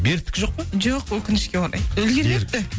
беріктікі жоқ па жоқ өкінішке орай үлгермепті